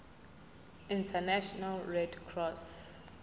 international red cross